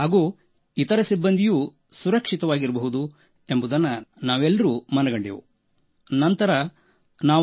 ಹಾಗೂ ಇತರ ಸಿಬ್ಬಂದಿಯೂ ಸುರಕ್ಷಿತವಾಗಿರಬಹುದು ಎಂಬುದನ್ನು ನಾವು ಮನಗಂಡೆವು